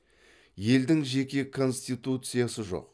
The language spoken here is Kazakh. елдің жеке конституциясы жоқ